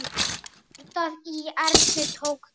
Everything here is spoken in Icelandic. Hjartað í Erni tók kipp.